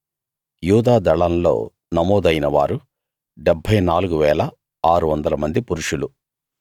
యూదా దళంలో నమోదైన వారు 74 600 మంది పురుషులు